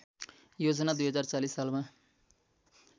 योजना २०४० सालमा